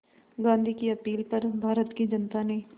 गांधी की अपील पर भारत की जनता ने